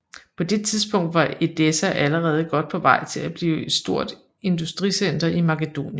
På det tidspunkt var Edessa allerede godt på vej til at blive et stort industricenter i Makedonien